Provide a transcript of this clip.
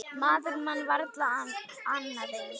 Maður man varla annað eins.